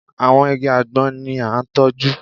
Àwọn igi àgbọn ni a tọ́jú